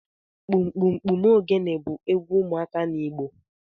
Kpụmkpụmkpụm ogene bu egwu ụmuaka n’Igbo